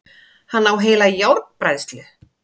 Hann á heila járnbræðslu!